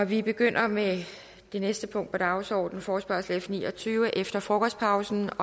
vi begynder med det næste punkt på dagsordenen forespørgsel nummer f ni og tyve efter forkostpausen